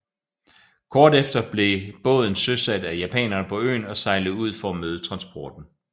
Kort efter blev en båden søsat af japanere på øen og sejlede ud for at møde transporten